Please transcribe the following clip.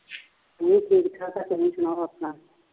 ਮੈਂ ਠੀਕ ਠਾਕ ਤੁਸੀ ਸਣਾਓ ਆਪਣਾ